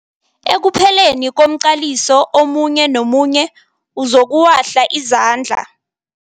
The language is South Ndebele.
Ekupheleni komqaliso omunye nomunye uzokuwahla izandla.